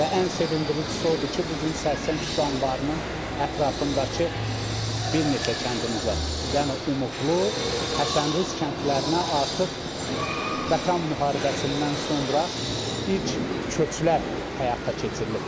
Və ən sevindiricisi o oldu ki, bu gün Sərsəng su anbarının ətrafındakı bir neçə kəndimizə, yəni Umudlu, Həsənrız kəndlərinə artıq Vətən müharibəsindən sonra ilk köçlər həyata keçirilib.